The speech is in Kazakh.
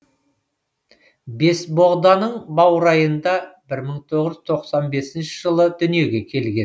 бесбоғданың баурайында бір мың тоғыз жүз тоқсан бесінші жылы дүниеге келген